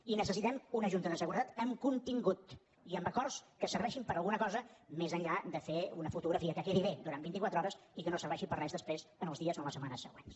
i necessitem una junta de seguretat amb contingut i amb acords que serveixin per a alguna cosa més enllà de fer una fotografia que quedi bé durant vint i quatre hores i que no serveixi per a res després en els dies o en les setmanes següents